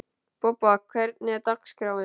Bobba, hvernig er dagskráin?